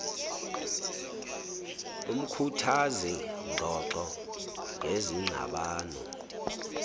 umkhuthazi ngxoxo ngezingxabano